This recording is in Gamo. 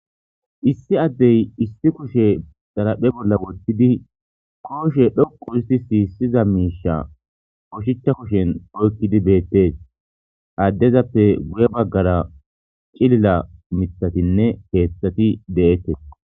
Issi addey issi kushe zalaphe bolla wottidi kooshe dhoqu histi siissiza miisha koshicha kushen oykkidi beettes addezappe guye baggara cilila mithatinne keeththati de'ettes.